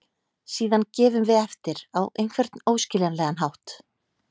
Síðan gefum við eftir á einhvern óskiljanlegan hátt.